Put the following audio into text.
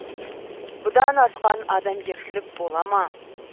бұдан асқан адамгершілік бола ма